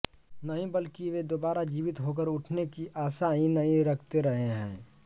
नहीं बल्कि वे दोबारा जीवित होकर उठने की आशा ही नहीं रखते रहे है